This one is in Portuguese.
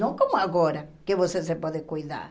Não como agora, que você se pode cuidar.